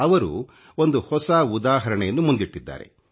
ಅವರು ಒಂದು ಹೊಸ ಉದಾಹರಣೆಯನ್ನು ಮುಂದಿಟ್ಟಿದ್ದಾರೆ